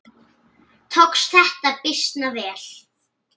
Tókst þetta býsna vel.